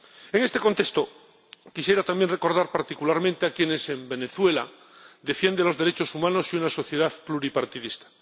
En este contexto, quisiera también recordar particularmente a quienes en Venezuela defienden los derechos humanos y una sociedad pluripartidista.